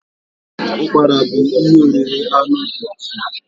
ụkpara bu ihe oriri anụ dị iche iche.